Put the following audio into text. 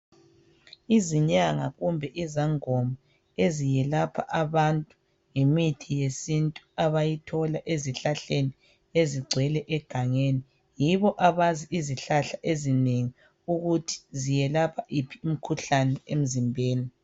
Izinyanga kumbe izangoma eziyelapha abantu ngemithi yesintu abayithola ezihlahleni ezigcwele egangeni yibo abazi izihlahla ezinengi ukuthi ziyelapha yiphi imkhuhlane emzimbeni.